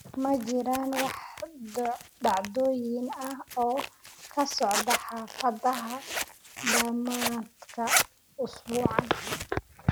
Ma jiraan wax dhacdooyin ah oo ka socda xaafadaha dhamaadka usbuucan?